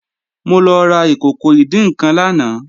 Mo lọ ra ìkòkò ìdín-nǹkan lánàá